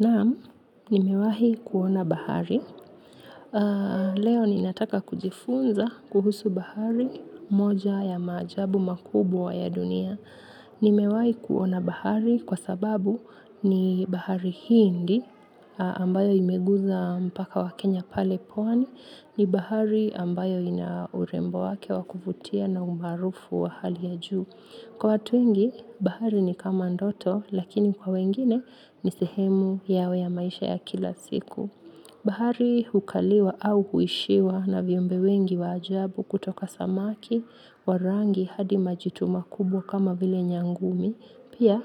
Naam, nimewahi kuona bahari. Leo ninataka kujifunza kuhusu bahari moja ya maajabu makubwa ya dunia nimewahi kuona bahari kwa sababu ni bahari hindi ambayo imeguza mpaka wa Kenya pale pwani. Ni bahari ambayo ina urembo wake wa kuvutia na umaarufu wa hali ya juu kwa watu wengi bahari ni kama ndoto lakini kwa wengine ni sehemu yao ya maisha ya kila siku. Bahari hukaliwa au huishiwa na viumbe wengi wa ajabu kutoka samaki wa rangi hadi majitu makubwa kama vile nyangumi. Pia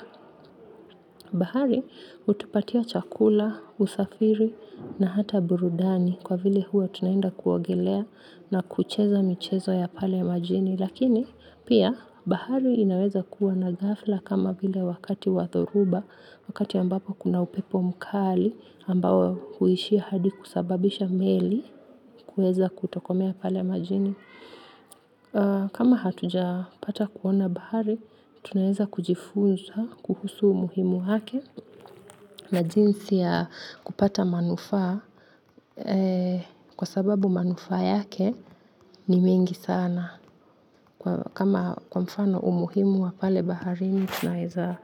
bahari hutupatia chakula, usafiri na hata burudani kwa vile huwa tunaenda kuogelea na kucheza michezo ya pale majini. Lakini pia bahari inaweza kuwa na ghafla kama vile wakati wa dhoruba wakati ambapo kuna upepo mkali ambao huishia hadi kusababisha meli kuweza kutokomea pale majini. Kama hatujapata kuona bahari. Tunaeza kujifunza kuhusu umuhimu wake na jinsi ya kupata manufaa kwa sababu manufaa yake ni mengi sana kama kwa mfano umuhimu wa pale bahari tunaeza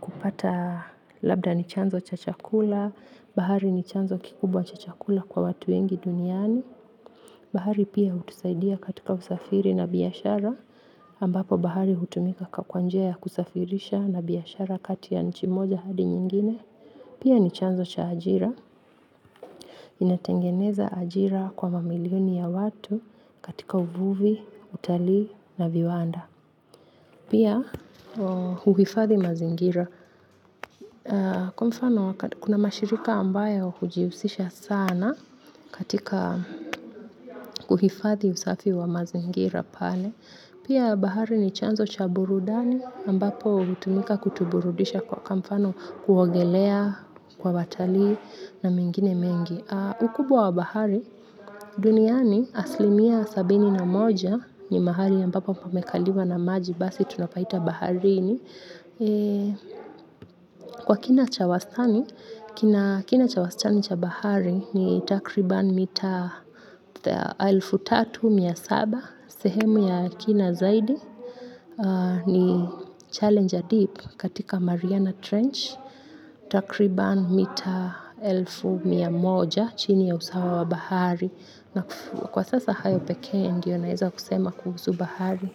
kupata labda ni chanzo cha chakula bahari ni chanzo kikubwa cha chakula kwa watu wengi duniani bahari pia hutusaidia katika usafiri na biashara, ambapo bahari hutumika kwa njia ya kusafirisha na biashara kati ya nchi moja hadi nyingine pia ni chanzo cha ajira inatengeneza ajira kwa mamilioni ya watu katika uvuvi, utalii na viwanda. Pia huhifadhi mazingira. Kuna mashirika ambayo hujihusisha sana katika uhifadhi usafi wa mazingira pale. Pia bahari ni chanzo cha burudani ambapo hutumika kutuburudisha kwa mfano kuogelea kwa watalii na mengine mengi. Ukubwa wa bahari, duniani asilimia sabini na moja ni mahali ambapo pamekaliwa na maji, basi tunapaita baharini. Kwa kina cha wastani, kina cha wastani cha bahari ni takriban mita elfu moja na mia saba, sehemu ya kina zaidi, ni Challenger Deep katika Mariana Trench. Takriban mita elfu mia moja chini ya usawa wa bahari na kwa sasa hayo peke ndio naeza kusema kuhusu bahari.